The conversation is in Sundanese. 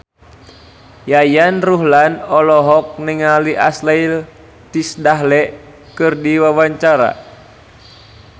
Yayan Ruhlan olohok ningali Ashley Tisdale keur diwawancara